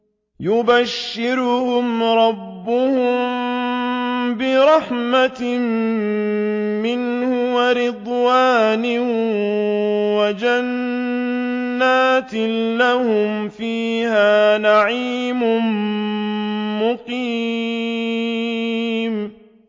يُبَشِّرُهُمْ رَبُّهُم بِرَحْمَةٍ مِّنْهُ وَرِضْوَانٍ وَجَنَّاتٍ لَّهُمْ فِيهَا نَعِيمٌ مُّقِيمٌ